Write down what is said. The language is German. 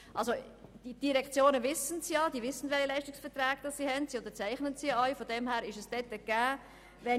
Die Direktionen wissen, welche Leistungsverträge bestehen, da sie diese unterzeichnen.